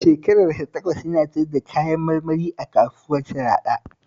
Shekarar sa takwas yana siyar da kayan marmari a kasuwar Sharaɗa